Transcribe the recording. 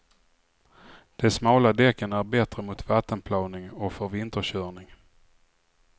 De smala däcken är bättre mot vattenplaning och för vinterkörning.